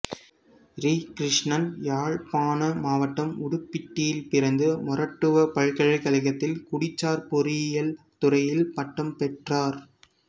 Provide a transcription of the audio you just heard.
ரி கிருஷ்ணன் யாழ்ப்பாண மாவட்டம் உடுப்பிட்டியில் பிறந்து மொறட்டுவ பல்கலைக்கழகத்தில் குடிசார் பொறியியல் துறையில் பட்டம் பெற்றார்